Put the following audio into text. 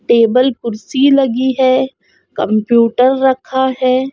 Table कुर्सी लगी है कंप्यूटर रखा है।